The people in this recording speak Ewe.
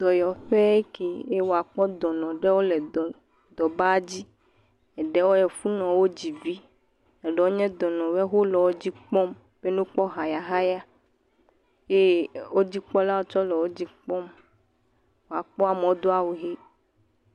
Dɔnɔ ƒe eke eye akpɔ dɔnɔ ɖewo le dɔ ba dzi eɖewo efunɔ wɔ dzi vi, eɖewo nye dɔnɔ woe, wole wodzi kpɔm be nɔ kpɔ hayahaya eye wodzikpɔlawo tsɛ le wodzi kpɔm. Wòkpɔe amewo Do awu ɣi.